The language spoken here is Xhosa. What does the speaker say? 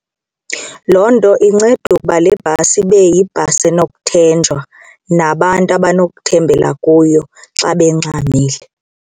Loo nto inceda ukuba le bhasi ibe yibhasi enokuthenjwa nabantu abanokuthembela kuyo xa bengxamile.